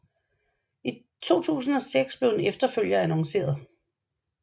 I 2006 blev en efterfølger annonceret